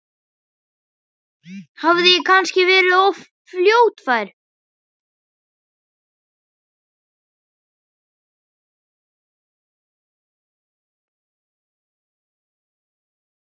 Hafði ég kannski verið of fljótfær?